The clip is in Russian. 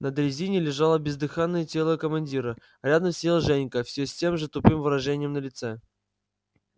на дрезине лежало бездыханное тело командира рядом сидел женька все с тем же тупым выражением на лице